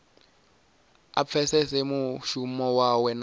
a pfesese mushumo wawe na